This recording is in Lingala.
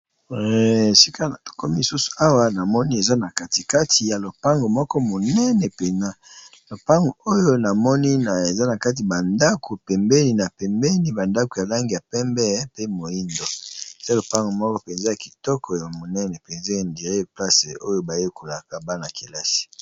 Esika na to komi susu awa na moni eza na katikati ya lopango moko monene penza lopango oyo na moni na eza na kati ba ndako pembeni na pembeni ba ndako ya langi ya pembe pe moyindo, eza lopango moko penza ya kitoko ya monene penza ya on dirait ya place oyo ba yekolaka bana kelasi .